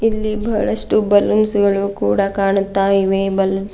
ಇಲ್ಲಿ ಬಹಳಷ್ಟು ಬಲೂನ್ಸ್ ಗಳು ಕೂಡ ಕಾಣುತ್ತಾಯಿವೆ ಬಲೂನ್ಸ್ --